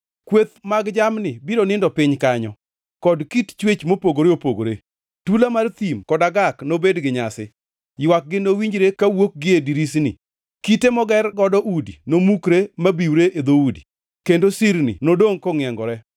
Kweth mag jamni biro nindo piny motimo kanyo, kod kit chwech mopogore opogore. Tula mar thim kod agak nobed gi nyasi. Ywakgi nowinjre ka wuok gie dirisni, kite moger godo udi nomukre mabiwre e dhoudi, kendo sirni nodongʼ kongʼiengore.